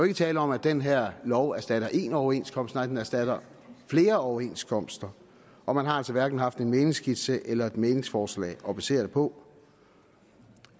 ikke tale om at den her lov erstatter en overenskomst nej den erstatter flere overenskomster og man har altså hverken haft en mæglingsskitse eller et mæglingsforslag at basere det på